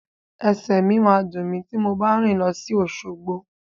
Ẹsẹ̀ mi máa dùn mí ti mo bá rìn lọ sí Òṣogbo.